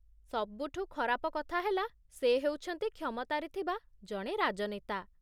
ସବୁଠୁ ଖରାପ କଥା ହେଲା, ସେ ହେଉଛନ୍ତି କ୍ଷମତାରେ ଥିବା ଜଣେ ରାଜନେତା